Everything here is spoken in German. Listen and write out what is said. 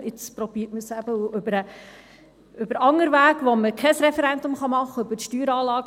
Jetzt versucht man es eben über einen anderen Weg, bei dem man kein Referendum machen kann: über die Steueranlage.